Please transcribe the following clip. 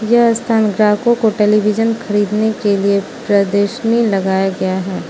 यह स्थान ग्राहकों को टेलीविजन खरीदने के लिए प्रदर्शनी लगाया गया है।